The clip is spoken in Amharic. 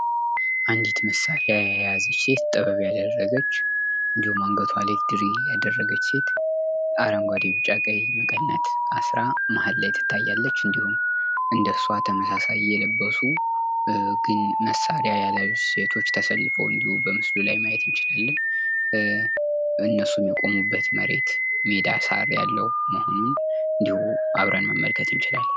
አንድት መሳሪያ የያዘች ሴት ጥበብ ያደረገች እንድሁም አንገቷ ላይ ድሪ ያደረገች አረንጓዴ ቢጫ ቀይ መቀነት አስራ መሀል ላይ ትታያለች። እንድሁም እንደሷ ተመሳሳይ የለበሱ መሳሪያ ያልያዙ ሴቶች ተሰልፈው እንዲሁ ማየት እንችላለን። እነሱ የቆሙበት መሬት ሜዳ ሳር ያለው አሁንም እንድሁ አብረን መመልከት እንችላለን።